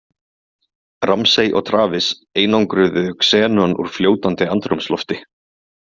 Ramsay og Travis einangruðu xenon úr fljótandi andrúmslofti.